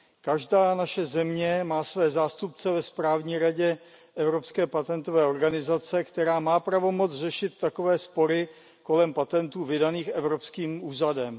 Každá naše země má své zástupce ve správní radě Evropské patentové organizace, která má pravomoc řešit takové spory kolem patentů vydaných evropským úřadem.